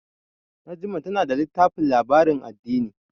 Najma tana da littafin labarin addini.